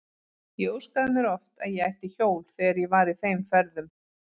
Ég óskaði mér oft að ég ætti hjól þegar ég var í þeim ferðum.